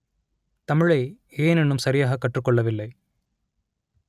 தமிழை ஏன் இன்னும் சரியாக கற்றுக் கொள்ளவில்லை